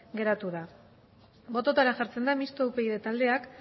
geratu da bototara jartzen da mistoa upyd taldeak